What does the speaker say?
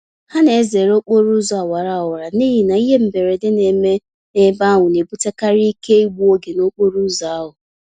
Ha na-ezere okporo ụzọ awara awara n'ihi na ihe mberede neme n'ebe ahụ na-ebutekarị ike igbu oge n'okporo ụzọ ahụ